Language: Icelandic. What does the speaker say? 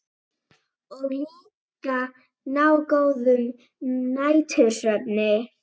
Og líka ná góðum nætursvefni.